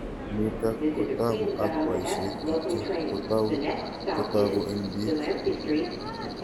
Nitok kotaku ak poishet kityo kotau kotaku eng' pik